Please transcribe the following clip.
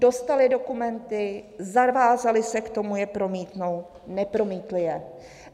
Dostali dokumenty, zavázali se k tomu, je promítnout, nepromítli je.